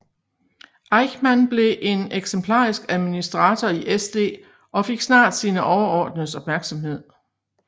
Eichmann blev en eksemplarisk administrator i SD og fik snart sine overordnedes opmærksomhed